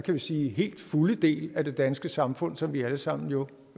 man sige helt fulde del af det danske samfund som vi alle sammen jo